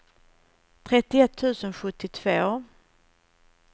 trettioett tusen sjuttiotvå